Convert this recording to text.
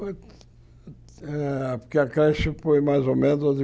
Foi eh porque a creche foi mais ou menos de